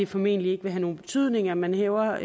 formentlig ikke have nogen betydning at man hæver